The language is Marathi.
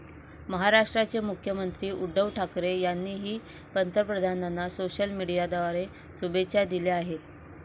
महाराष्ट्राचे मुख्यमंत्री उद्धव ठाकरे यांनीही पंतप्रधानांना सोशल मीडियाद्वारे शुभेच्छा दिल्या आहेत.